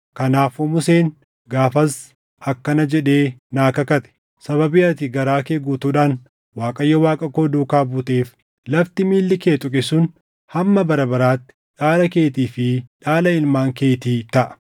Kanaafuu Museen gaafas akkana jedhee naa kakate; ‘Sababii ati garaa kee guutuudhaan Waaqayyo Waaqa koo duukaa buuteef, lafti miilli kee tuqe sun hamma bara baraatti dhaala keetii fi dhaala ilmaan keetii taʼa.’